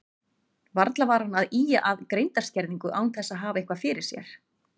Varla var hann að ýja að greindarskerðingu án þess að hafa eitthvað fyrir sér.